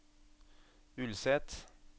Ulset